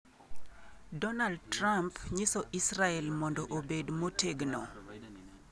Dornald Trump nyiso Israel" mondo obed motegno"